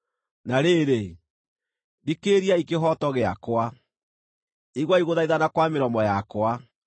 Na rĩrĩ, thikĩrĩriai kĩhooto gĩakwa; iguai gũthaithana kwa mĩromo yakwa.